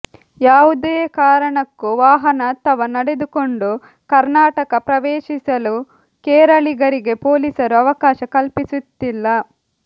ಯಾವುದೇ ಕಾರಣಕ್ಕೂ ವಾಹನ ಅಥವಾ ನಡೆದುಕೊಂಡು ಕರ್ನಾಟಕ ಪ್ರವೇಶಿಸಲು ಕೇರಳಿಗರಿಗೆ ಪೊಲೀಸರು ಅವಕಾಶ ಕಲ್ಪಿಸುತ್ತಿಲ್ಲ